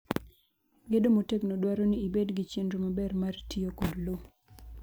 Gedo motegno dwaro ni ibed gi chenro maber mar tiyo kod lowo.